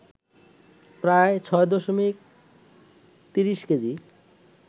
প্রায় ৬ দশমিক ৩০ কেজি